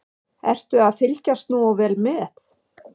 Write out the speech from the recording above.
Ertu að fylgjast nógu vel með?